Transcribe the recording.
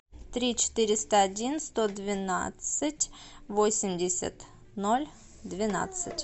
три четыреста один сто двенадцать восемьдесят ноль двенадцать